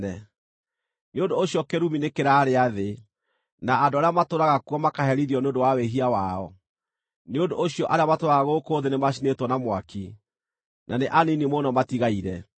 Nĩ ũndũ ũcio kĩrumi nĩkĩrarĩa thĩ; na andũ arĩa matũũraga kuo makaherithio nĩ ũndũ wa wĩhia wao. Nĩ ũndũ ũcio arĩa matũũraga gũkũ thĩ nĩmacinĩtwo na mwaki, na nĩ anini mũno matigaire.